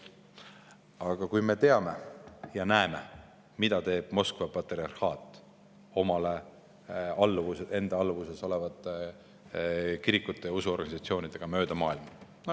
Aga me teame ja näeme, mida teeb Moskva patriarhaat enda alluvuses olevate kirikute ja usuorganisatsioonidega mööda maailma.